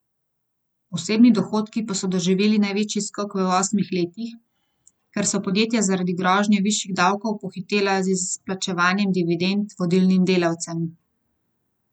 Osebni dohodki pa so doživeli največji skok v osmih letih, ker so podjetja zaradi grožnje višjih davkov pohitela z izplačevanjem dividend vodilnim delavcem.